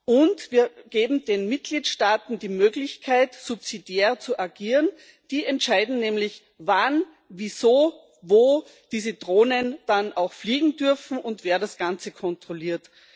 Und wir geben den Mitgliedstaaten die Möglichkeit, subsidiär zu agieren die entscheiden nämlich, wann, wieso, wo diese Drohnen dann auch fliegen dürfen und wer das Ganze kontrolliert.